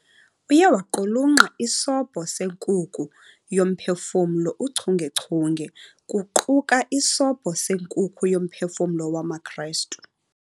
Uye waqulunqa "iSobho seNkuku yoMphefumlo uchungechunge", kuquka "iSobho seNkuku yoMphefumlo wamaKristu."